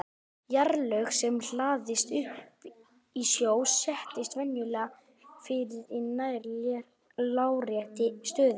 Jarðlög sem hlaðast upp í sjó setjast venjulega fyrir í nær láréttri stöðu.